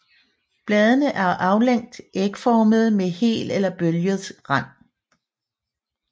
Bladene er aflangt ægformede med hel eller bølget rand